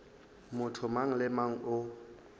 motho mang le mang o